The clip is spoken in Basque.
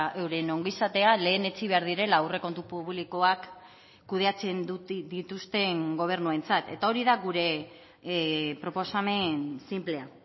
euren ongizatea lehenetsi behar direla aurrekontu publikoak kudeatzen dituzten gobernuentzat eta hori da gure proposamen sinplea